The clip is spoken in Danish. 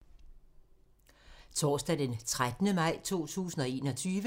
Torsdag d. 13. maj 2021